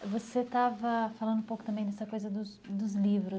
Você estava falando um pouco também dessa coisa dos dos livros